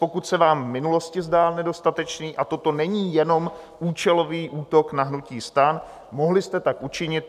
Pokud se vám v minulosti zdál nedostatečný a toto není jenom účelový útok na hnutí STAN, mohli jste tak učinit.